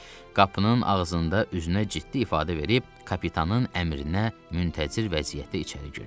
Qapının ağzında üzünə ciddi ifadə verib kapitanın əmrinə müntəzir vəziyyətdə içəri girdi.